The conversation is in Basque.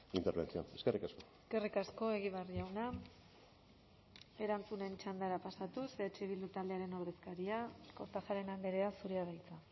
intervención eskerrik asko eskerrik asko egibar jauna erantzunen txandara pasatuz eh bildu taldearen ordezkaria kortajarena andrea zurea da hitza